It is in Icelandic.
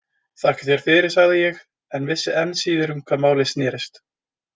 Þakka þér fyrir, sagði ég, en vissi enn síður um hvað málið snerist.